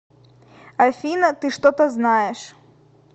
афина ты что то знаешь